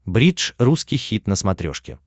бридж русский хит на смотрешке